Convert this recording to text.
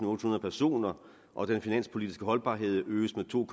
og ottehundrede personer og den finanspolitiske holdbarhed øges med to